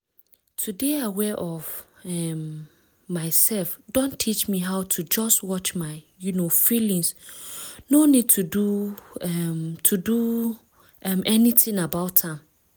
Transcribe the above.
to dey aware of um myself don teach me how to just watch my um feelings no need to do um to do um anything about am.